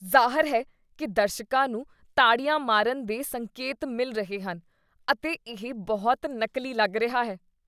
ਜ਼ਾਹਰ ਹੈ ਕੀ ਦਰਸ਼ਕਾਂ ਨੂੰ ਤਾੜੀਆਂ ਮਾਰਨ ਦੇ ਸੰਕੇਤ ਮਿਲ ਰਹੇ ਹਨ ਅਤੇ ਇਹ ਬਹੁਤ ਨਕਲੀ ਲੱਗ ਰਿਹਾ ਹੈ।